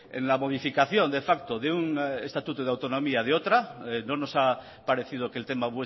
en la modificación de facto de un estatuto de autonomía de otra no nos ha parecido que el tema